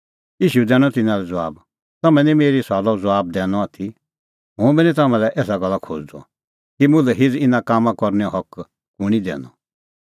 ईशू दैनअ तिन्नां लै ज़बाब तम्हैं निं मेरी सुआलो ज़बाब दैनअ आथी हुंबी निं तम्हां लै एसा गल्ला खोज़दअ कि मुल्है हिझ़ इना कामां करनैओ हक कुंणी दैनअ